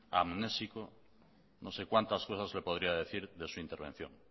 amnésico no sé cuántas cosas le podría decir de su intervención